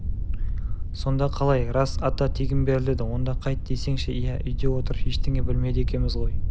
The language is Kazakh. сонда қалай рас ата тегін беріледі онда қайт десеңші иә үйде отырып ештеңе білмейді екенбіз ғой